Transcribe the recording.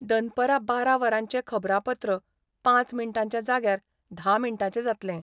दनपरा बारा वरांचे खबरापत्र पांच मिनटांच्या जाग्यार धा मिंटाचे जातलें.